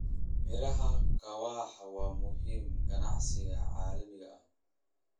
Miraha kahawa waa muhiim ganacsiga caalamiga ah.